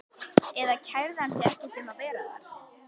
Eða kærði hann sig ekki um að vera það?